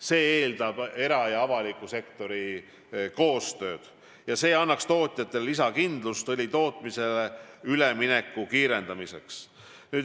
See eeldab era- ja avaliku sektori koostööd ning see annaks tootjatele lisakindlust õlitootmisele ülemineku kiirendamiseks.